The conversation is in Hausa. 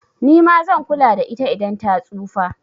Nima zan kula da ita idan ta tsufa